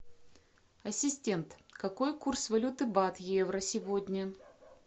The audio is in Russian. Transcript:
ассистент какой курс валюты бат евро сегодня